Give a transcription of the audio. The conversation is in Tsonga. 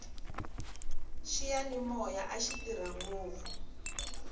xiyanimoya axi tirha ngopfu